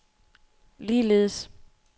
ligeledes